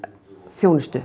þjónustu